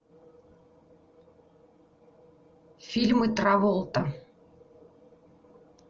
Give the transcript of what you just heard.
фильмы траволта